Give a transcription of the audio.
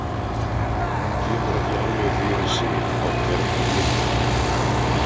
Hún kemur ekki alveg fyrir sig á hvern hann minnir.